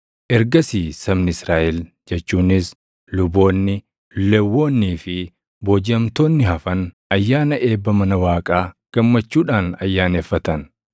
Ergasii sabni Israaʼel jechuunis luboonni, Lewwonnii fi boojiʼamtoonni hafan ayyaana eebba mana Waaqaa gammachuudhaan ayyaaneffatan.